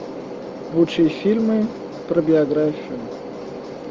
лучшие фильмы про биографию